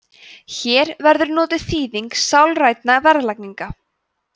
hér verður notuð þýðingin sálræn verðlagning